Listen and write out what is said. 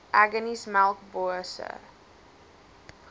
aggeneys melkbos e